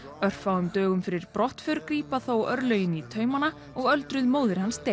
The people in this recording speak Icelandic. örfáum dögum fyrir brottför grípa þó örlögin í taumanna og öldruð móðir hans deyr